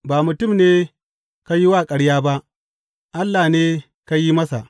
Ba mutum ne ka yi wa ƙarya ba, Allah ne ka yi masa.